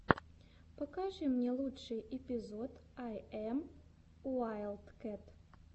покажи мне лучший эпизод ай эм уайлдкэт